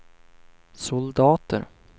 soldater